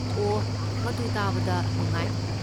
ꯑꯣ, ꯃꯗꯨ ꯇꯥꯕꯗ ꯅꯨꯡꯉꯥꯏ꯫